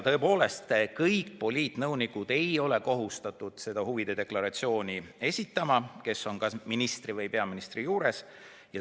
Tõepoolest, kõik poliitnõunikud, kes töötavad ministri või peaministri juures, ei ole kohustatud huvide deklaratsiooni esitama.